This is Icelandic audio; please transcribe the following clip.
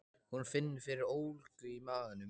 Hún finnur fyrir ólgu í maganum.